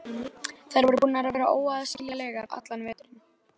Þær voru búnar að vera óaðskiljanlegar allan veturinn.